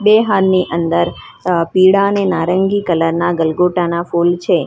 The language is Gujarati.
બે હારની અંદર અ પીળા અને નારંગી કલર ના ગલગોટા ના ફૂલ છે.